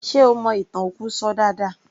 Ṣe ó mọ ìtàn òkú ṣọ dáadáa